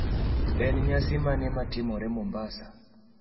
en nyasi mane natimore mombasa